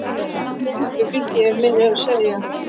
Nei, hún er uppi, flýtti ég mér að segja.